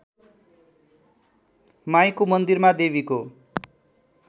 माईको मन्दिरमा देवीको